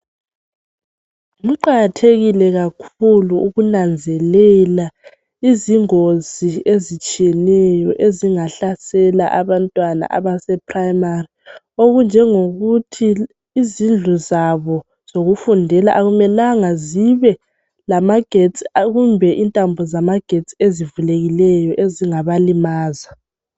Kuqakathekile kakhulu ukunanzelela izingozi ezitshiyeneyo ezingahlasela abantwana abase primari okunjengokuthi izindlu zabo zokufundela akumela zibe lamagetsi kumbe intambo zamagetsi ezivulekileyo ezingabalimaza.